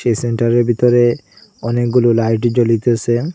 সেন্টারের বিতরে অনেকগুলো লাইট জ্বলিতেসে।